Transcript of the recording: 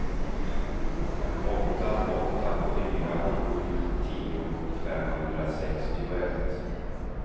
åtta åtta fyra sju tio femhundrasextioett